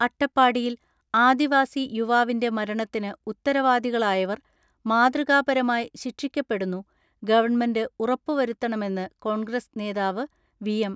അട്ടപ്പാടിയിൽ ആദിവാസി യുവാവിന്റെ മരണത്തിന് ഉത്തരവാദികളായവർ മാതൃകാപരമായി ശിക്ഷിക്കപ്പെടുന്നു ഗവൺമെന്റ് ഉറപ്പുവരുത്തണമെന്ന് കോൺഗ്രസ് നേതാവ് വി.എം.